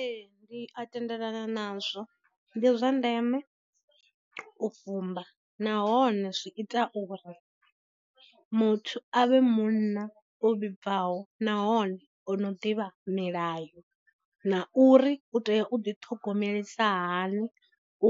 Ee, ndi a tendelana nazwo, ndi zwa ndeme u fumba nahone zwi ita uri muthu a vhe munna o vhibvaho nahone ono ḓivha milayo, na uri u tea u ḓi thogomelisahani